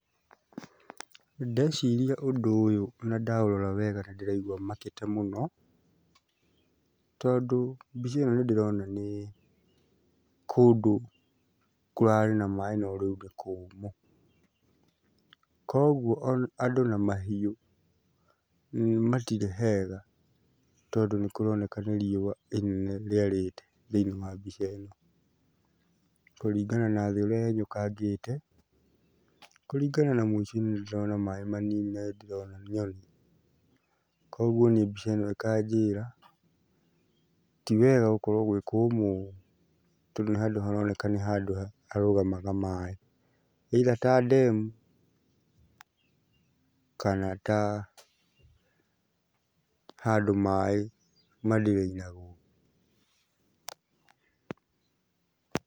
Ndeciria ũndũ ũyũ na ndaũrora wega nĩndĩraigua makĩte mũno tondũ mbica ĩno nĩndĩrona nĩ kũndũ kũrarĩ na maĩ no rĩu nĩ kũmũ, koguo andũ na mahiũ matirĩ hega tondũ nĩkũroneka nĩ riũa inene rĩarĩte thĩiniĩ wa mbica ĩno kũringana na thĩ ũrĩa yenyũkangĩte, kũringana na mũico-inĩ nĩndĩrona maĩ manini na ndĩndĩrona nyoni. Kuoguo niĩ mbica ĩno ĩkanjĩra tiwega gũkorwo gwĩ kũmũ tondũ nĩ handũ haroneka nĩ handũ harũgamaga maĩ either ta ndemu kana ta handũ maĩ ma drain agwo.